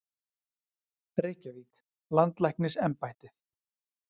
Reykjavík: Landlæknisembættið.